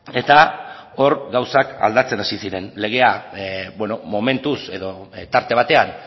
eta hor gauzak aldatzen hasi ziren legea momentuz edo tarte batean